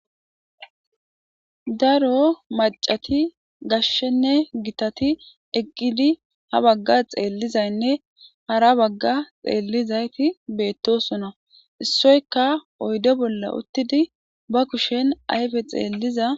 daro macati gashshenne gitati eqqidi ha bagga xeellizaynne hara bagga xeellizayti beettosona issoyka oydo bolla uttidi ba kushen ayfe xeelliza